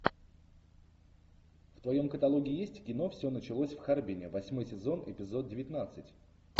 в твоем каталоге есть кино все началось в харбине восьмой сезон эпизод девятнадцать